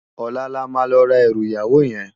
Òlá lá ma lò rá èrù iyáwó yèn